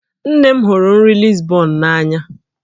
Nne m hụrụ nri Lisbon n'anya